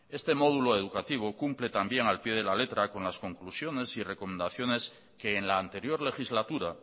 este módulo educativo cumple también al pie de la letra con las conclusiones y recomendaciones que en la anterior legislatura